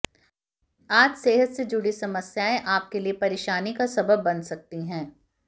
आज सेहत से जुड़ी समस्या आपके लिए परेशानी का सबब बन सकती है